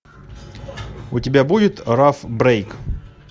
у тебя будет раф брейк